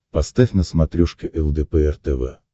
поставь на смотрешке лдпр тв